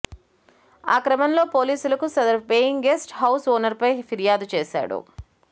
ఆ క్రమంలో పోలీసులకు సదరు పేయింగ్ గెస్ట్ హౌజ్ ఓనర్పై ఫిర్యాదు చేశాడు